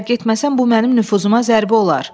Əgər getməsəm bu mənim nüfuzuma zərbə olar.